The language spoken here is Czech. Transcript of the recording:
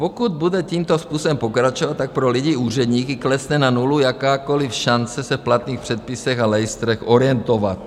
Pokud bude tímto způsobem pokračovat, tak pro lidi, úředníky klesne na nulu jakákoliv šance se v platných předpisech a lejstrech orientovat.